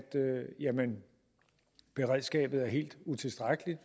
beredskabet er helt utilstrækkeligt